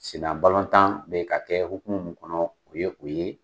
Sennabalɔntan be ka kɛ hokumu min kɔnɔ, o ye o ye.